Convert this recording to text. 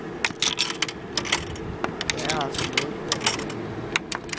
Der er altså noget, vi gør forkert.